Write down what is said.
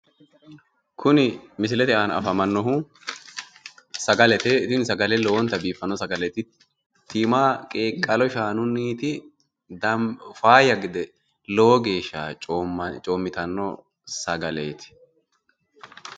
kuni misilete aana afamannohu sagalete, tini sagale lowonta biiffanno sagaleeti tima qeeqalo shaanunni faayya gede lowo geeshsha coommitanno sagaleeti.